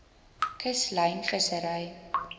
kuslyn vissery